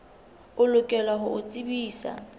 o lokela ho o tsebisa